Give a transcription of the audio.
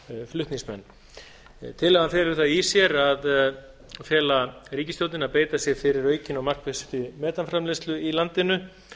flutningsmenn tillagan felur það í sér að fela ríkisstjórninni að beita sér fyrir aukinni og markvissri metanframleiðslu í landinu